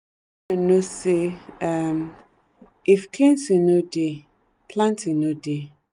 know say um if cleansing no dey planting no dey.